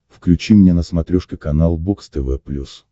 включи мне на смотрешке канал бокс тв плюс